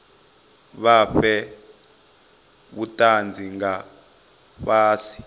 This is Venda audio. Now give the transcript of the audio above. vha fhe vhutanzi nga fhasi